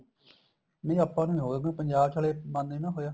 ਨਹੀਂ ਆਪਾਂ ਨੂੰ ਹੋ ਸਕਦਾ ਪੰਜਾਬ ਚ ਹਲੇ ਬੰਦ ਨੀ ਨਾ ਹੋਇਆ